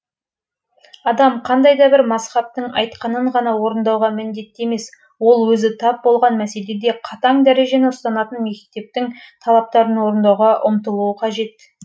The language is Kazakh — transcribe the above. адам қандай да бір мазһабтың айтқанын ғана орындауға міндетті емес ол өзі тап болған мәселеде қатаң дәрежені ұстанатын мектептің талаптарын орындауға ұмтылуы қажет